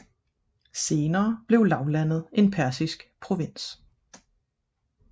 Senere blev lavlandet en persisk provins